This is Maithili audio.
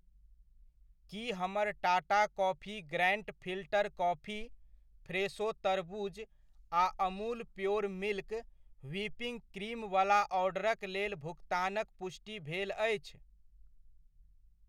की हमर Tata coffee grand filter coffee, Fresho तरबूज आ Amul pure milk whipping cream वला ऑर्डरक लेल भुकतानक पुष्टि भेल अछि?